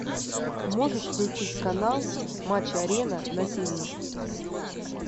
можешь включить канал матч арена на тв